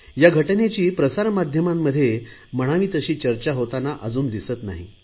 या घटनेची प्रसार माध्यमांमध्ये म्हणावी तशी चर्चा होताना अजून दिसत नाही